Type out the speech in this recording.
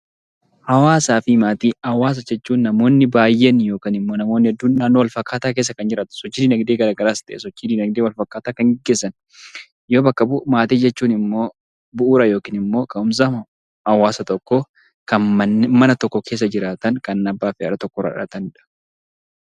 Hawaasa jechuun namoonni baay''een yookiin namoonni hedduun naannoo walfakkaataa keessa yommuu sochii dinagdee garaagaraas ta'ee sochii dinagdee wal fakkaataa kan gaggeessan yoo bakka bu'u, maatii jechuun immoo bu'uura yookiin immoo ka'umsa hawaasa tokkoo kan mana tokko keessa waliin jiraatan kan abbaa fi haadha tokkorraa dhalatanidha.